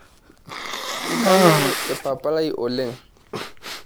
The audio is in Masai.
Kanyorr papa lai oleng.